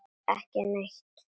Ekki neitt